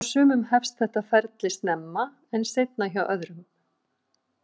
Hjá sumum hefst þetta ferli snemma en seinna hjá öðrum.